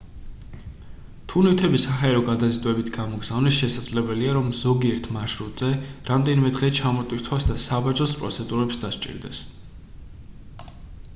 თუ ნივთები საჰაერო გადაზიდვებით გამოგზავნეს შესაძლებელია რომ ზოგიერთ მარშრუტზე რამდენიმე დღე ჩამოტვირთვას და საბაჟოს პროცედურებს დასჭირდეს